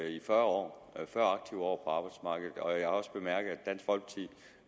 i fyrre år fyrre aktive år på arbejdsmarkedet jeg har også bemærket